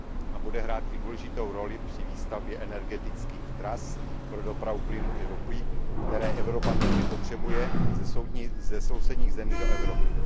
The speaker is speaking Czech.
A bude hrát i důležitou roli při výstavbě energetických tras pro dopravu plynu i ropy, které Evropa nutně potřebuje ze sousedních zemí do Evropy.